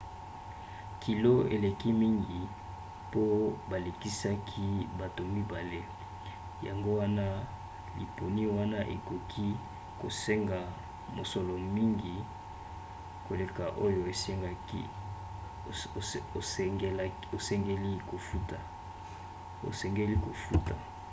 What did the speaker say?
kilo eleki mingi mpo balekisaki bato 2 yango wana liponi wana ekoki kosenga mosolo mingi koleka oyo osengeli kofuta